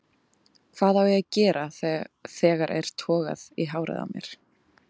Hvað á ég að gera þegar er togað í hárið á mér?